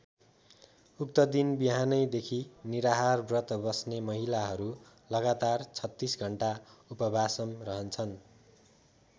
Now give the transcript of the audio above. उक्त दिन बिहानैदेखि निराहार व्रत बस्ने महिलाहरू लगातार ३६ घण्टा उपवासम रहन्छन्।